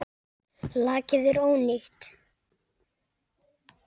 Lakið er ónýtt!